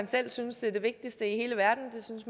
selv synes er det vigtigste i hele verden det synes